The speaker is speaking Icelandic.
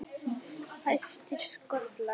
Fæstir skollar